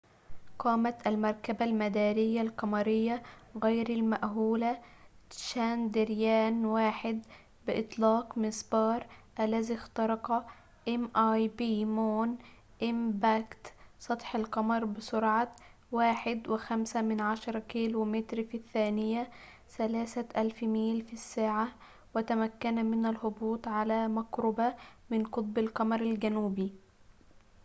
قامت المركبة المدارية القمرية غير المأهولة تشاندرايان-1 بإطلاق مسبار مون إمباكت mip، الذي اخترق سطح القمر بسرعة 1.5 كيلومتر في الثانية 3000 ميل في الساعة، وتمكن من الهبوط على مقربة من قطب القمر الجنوبي